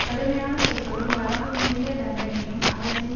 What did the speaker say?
கடுமையான சொற்களும் வரம்பு மீறிய தண்டனையும் அரசின்